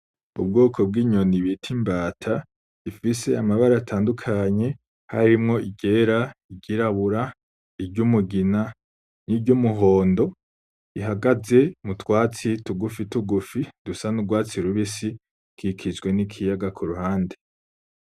Ubwoko bw'inyoni bita imbata, ifise amabara atandukanye harimwo iryera, iry'irabura, iry'umugina n'iry'umuhondo, ihagaze mu twatsi tugufi tugufi dusa n'urwatsi rubisi, dukikijwe n'ikiyaga ku ruhande.